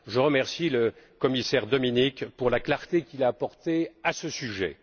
Je remercie le commissaire Dominik pour la clarté qu'il a apportée à ce sujet.